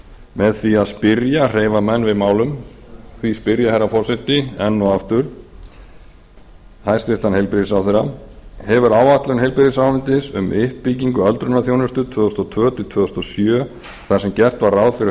með því að spyrja hreyfa menn við málum því spyr ég herra forseti enn og aftur hæstvirtur heilbrigðisráðherra hefur áætlun heilbrigðisráðuneytis um uppbyggingu öldrunarþjónustu tvö þúsund og tvö til tvö þúsund og sjö þar sem gert var ráð fyrir